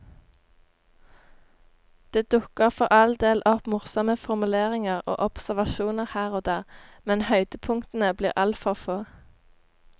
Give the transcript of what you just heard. Det dukker for all del opp morsomme formuleringer og observasjoner her og der, men høydepunktene blir altfor få.